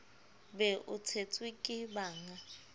be o tshetswe ke bannga